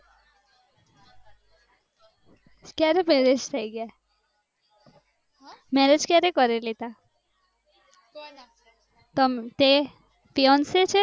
ક્યારે marriage થયી ગયા marriage ક્યારે કરી લીધા તેમ તે fiance છે